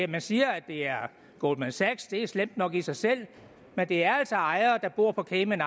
man siger at det er goldman sachs og det er slemt nok i sig selv men det er altså ejere der bor på cayman